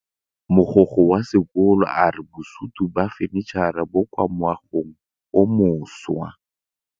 Mogokgo wa sekolo a re bosutô ba fanitšhara bo kwa moagong o mošwa.